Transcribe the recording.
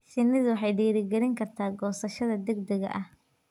Shinnidu waxay dhiirigelin kartaa goosashada degdega ah.